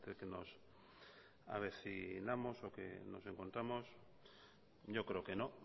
que nos avecinamos o que nos encontramos yo creo que no